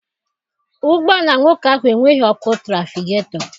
Ụgbọala nwoke ahụ enweghị ọkụ trafigetọ.